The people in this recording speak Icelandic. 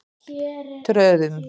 Tröðum